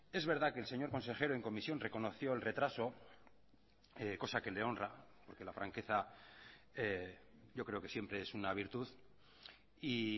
es verdad que el señor consejero en comisión reconoció el retraso cosa que le honra porque la franqueza yo creo que siempre es una virtud y